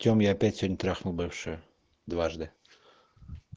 тем я опять сегодня трахнул бывшую дважды